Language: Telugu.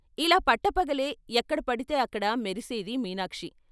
ఇలా పట్టపగలే ఎక్కడపడితే అక్కడ మెరిసేది మీనాక్షి.